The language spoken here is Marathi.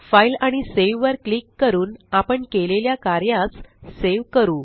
फाइल आणि सावे वर क्लिक करून आपण केलेल्या कार्यास सेव करू